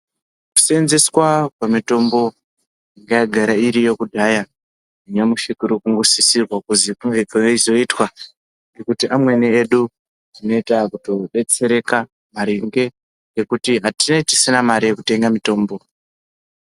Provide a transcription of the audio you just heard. Kuseenzeswa kwemitombo yagara iriyo kudhaya nyamushi kuri kungosisirwa kuzi kunge kweizoitwa ngekuti amweni tinenge taakutodetsereka maringe nekuti tinenge tisina mare yekutenga mutombo